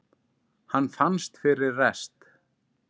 Hann fannst fyrir rest!